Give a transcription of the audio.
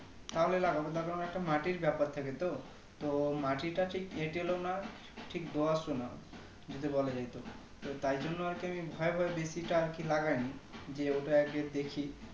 তাহলে লাগাবো না হলে একটা মাটির ব্যাপার থাকে তো মাটিটা ঠিক এটেলও না ঠিক দোআঁশও না যদি বলা যাই তো তো তাই জন্য আরকি আমি ভয় ভয় বেশিটা আরকি লাগাইনি যে ওটা আগে দেখি